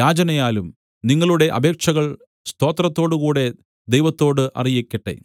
യാചനയാലും നിങ്ങളുടെ അപേക്ഷകൾ സ്തോത്രത്തോടുകൂടെ ദൈവത്തോട് അറിയിക്കട്ടെ